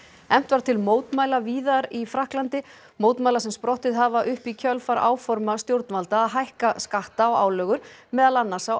efnt var til mótmæla víðar í Frakklandi mótmæla sem sprottið hafa upp í kjölfar árforma stjórnvalda að hækka skatta og álögur meðal annars á